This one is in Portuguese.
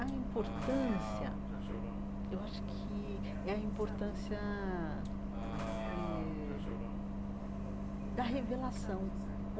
A importância, eu acho que é a importância eh da revelação.